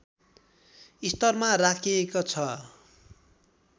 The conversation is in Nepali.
स्तरमा राखेको छ